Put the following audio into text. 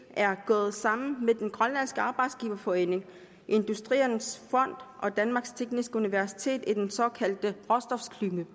er gået sammen med den grønlandske arbejdsgiverforening industriens fond og danmarks tekniske universitet i den såkaldte råstofklynge